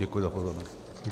Děkuji za pozornost.